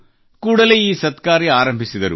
ಕೂಡಲೇ ಈ ಸತ್ಕಾರ್ಯವನ್ನು ಆರಂಭಿಸಿದರು